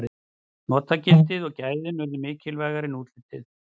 notagildið og gæðin urðu mikilvægara en útlitið